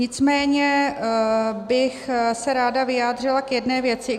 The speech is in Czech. Nicméně bych se ráda vyjádřila k jedné věci.